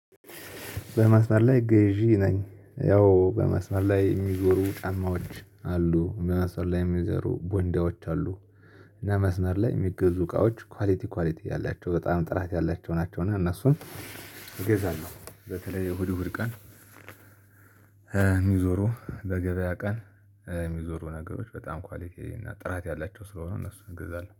በመስመር ላይ ገዢ ነኝ ያው በመስመር ላይ የሚዞሩ ጫማዎች አሉ በመስመር ላይ ሚዞሩ ቦንዳዎች አሉ። እና መስመር ላይ የሚገዙ እቃወች ኳሊቲ ኳሊቲ ያላቸው በጣም ጥራት ያላቸው ናቸው። እና እነሱን እገዛለሁ በተልይ እህድ እሁድ ቀን። የሚዞሩ በገበያ ቀን የሚዞሩ ነገሮች በጣም ኳሊቲ እና ጥራት ያላቸው ስለሆኑ እነሱን እገዛለሁ